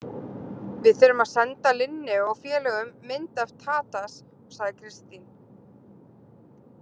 Við þurfum að senda Linneu og félögum mynd af Tadas, sagði Kristín.